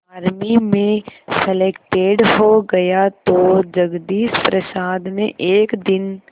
army में selected हो गया तो जगदीश प्रसाद ने एक दिन